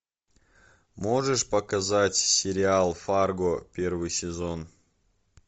можешь показать сериал фарго первый сезон